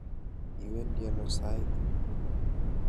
Iwendi ano sait ni?